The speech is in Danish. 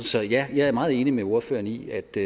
så ja jeg er meget enig med ordføreren i at det